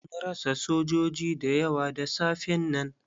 Mun rasa sojoji da yawa da safen nan.